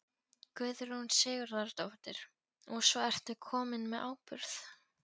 Guðrún Sigurðardóttir: Og svo ertu kominn með áburð?